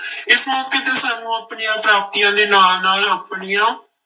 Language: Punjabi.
ਇਸ ਮੌਕੇ ਤੇ ਸਾਨੂੰ ਆਪਣੀਆਂ ਪ੍ਰਾਪਤੀਆਂ ਦੇ ਨਾਲ ਨਾਲ ਆਪਣੀਆਂ